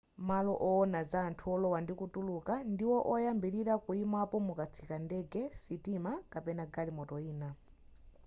malo owona za anthu olowa ndikutuluka ndiwo oyambilira kuyimapo mukatsika ndege sitima kapena galimoto ina